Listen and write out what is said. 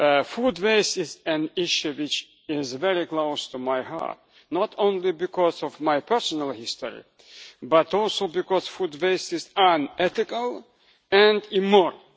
Food waste is an issue which is very close to my heart, not only because of my personal history, but also because food waste is unethical and immoral.